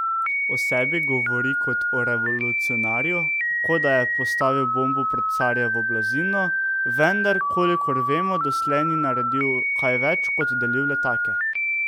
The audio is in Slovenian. O sebi govori kot o revolucionarju, kot da je postavil bombo pod carjevo blazino, vendar kolikor vemo, doslej ni naredil kaj več kot delil letake.